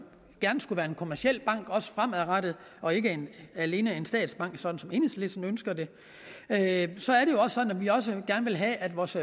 gerne skulle være en kommerciel bank også fremadrettet og ikke alene en statsbank sådan som enhedslisten ønsker det at vi også gerne vil have at vores